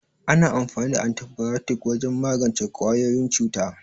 Ana amfani da Antibayotik wajen magance ƙwayoyin cuta.